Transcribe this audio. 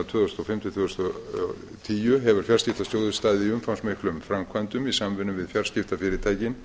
tvö þúsund og fimm til tvö þúsund og tíu hefur fjarskiptasjóður staðið í umfangsmiklum framkvæmdum í samvinnu við fjarskiptafyrirtækin